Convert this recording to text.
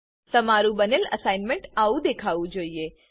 તમારું બનેલ અસાઇનમેન્ટઆવું દેખાવું જોઈએ